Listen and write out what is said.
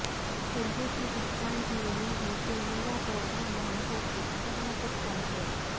اردو کی پہچان ہی یہی ہے کہ میرا پیغام محبت ہے جہاں تک پہنچے